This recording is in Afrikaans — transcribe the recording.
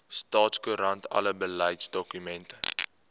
staatskoerant alle beleidsdokumente